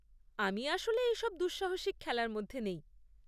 আমি আসলে এইসব দুঃসাহসিক খেলার মধ্যে নেই।